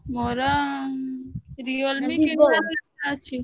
ମୋର Realme